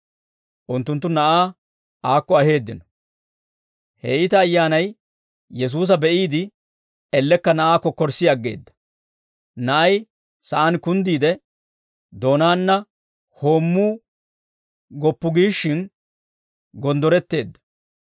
Unttunttu na'aa aakko aheeddino; he iita ayyaanay Yesuusa be'iide elekka na'aa kokkorssii aggeedda; na'ay sa'aan kunddiide, doonaana hoommuu goppu giishshin gonddoretteedda.